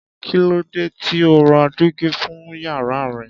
Kí ló dé tí o ò ra dígí fún yàrá rẹ?